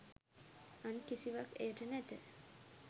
අන් කිසිවක් එයට නැත.